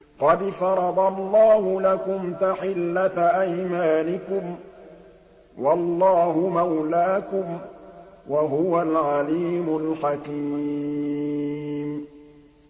قَدْ فَرَضَ اللَّهُ لَكُمْ تَحِلَّةَ أَيْمَانِكُمْ ۚ وَاللَّهُ مَوْلَاكُمْ ۖ وَهُوَ الْعَلِيمُ الْحَكِيمُ